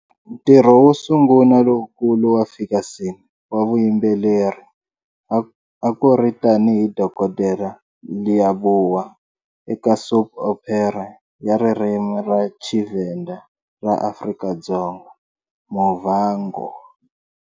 Ntirho wo sungula lowukulu wa Ferguson wa vuyimbeleri a ku ri tanihi Dokodela Leabua eka soap opera ya ririmi ra Tshivenda ra Afrika-Dzonga"Muvhango".